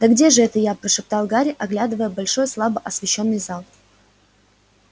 да где же это я прошептал гарри оглядывая большой слабо освещённый зал